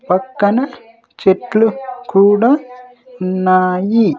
పక్కన చెట్లు కూడా ఉన్నాయి.